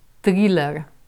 Triler.